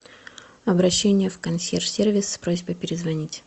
обращение в консьерж сервис с просьбой перезвонить